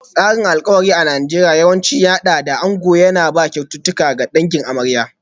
Tsarin alkawari a Najeriya yawanci ya haɗa da ango yana ba da kyaututtuka ga dangin amarya.